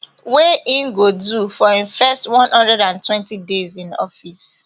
wey im go do for im first one hundred and twenty days in office